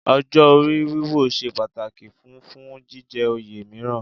Ọjọ́ orí wíwò ṣe pàtàkì fún fún jíjẹ oyè mìíràn